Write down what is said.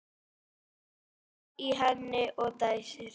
Blaðar í henni og dæsir.